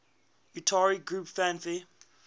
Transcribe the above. utari groups fanfare